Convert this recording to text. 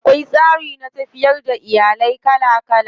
Akwai tsari na tafiyar da iyali kala kala.